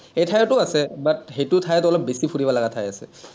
এই ঠাইটো আছে, but সেইটো ঠাইত অলপ বেছি ফুৰিব লগা ঠাই আছে।